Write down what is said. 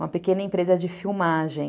uma pequena empresa de filmagem.